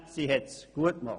Sie hat es gut gemacht.